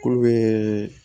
K'u bɛ